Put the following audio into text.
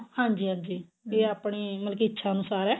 ਹਾਂਜੀ ਹਾਂਜੀ ਇਹ ਆਪਣੀ ਮਤਲਬ ਕੀ ਇੱਛਾ ਅਨੁਸਾਰ ਏ